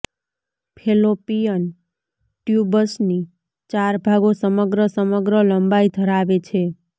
Fallopian ટ્યુબ્સની ચાર ભાગો સમગ્ર સમગ્ર લંબાઈ ધરાવે છે